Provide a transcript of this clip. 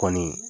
Kɔni